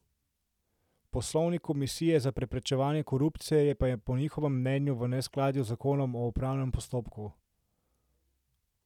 Poslovnik Komisije za preprečevanje korupcije pa je po njihovem mnenju v neskladju z zakonom o upravnem postopku.